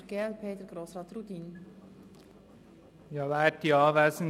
Das Wort hat der Mitmotionär, Grossrat Rudin.